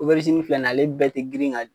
O bɛrizini filɛ nin ye ale bɛɛ tɛ grin ka